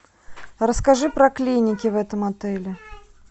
расскажи про клиники в этом отеле